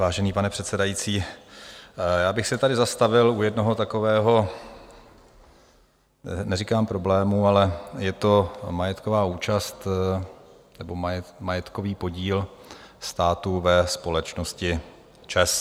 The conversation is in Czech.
Vážený pane předsedající, já bych se tady zastavil u jednoho takového neříkám problému, ale je to majetková účast nebo majetkový podíl státu ve společnosti ČEZ.